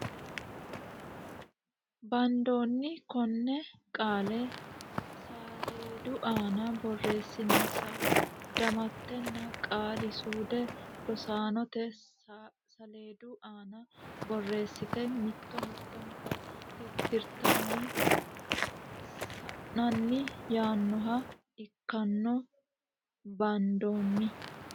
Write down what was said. Bandoonni Konne qaale saleedu aana borreessinsa damattenna qaali suude rosaanote saleedu aana borreessite mitto mittonka tittirtanni sa n anni yaannoha ikkanno Bandoonni.